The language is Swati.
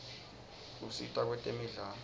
usita kwetemidlalo